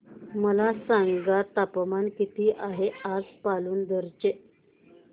मला सांगा तापमान किती आहे आज पालांदूर चे